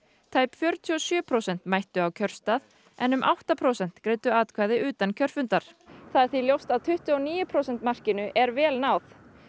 tæp fjörutíu og sjö prósent mættu á kjörstað en um átta prósent greiddu atkvæði utan kjörfundar það er því ljóst að tuttugu og níu prósent markinu er vel náð